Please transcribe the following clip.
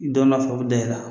I dɔ nɔfɛ u bɛ da i ra